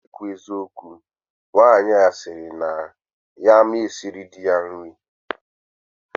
Na ikwu eziokwu, Nwanyi a siri na ya ama siri di ya nri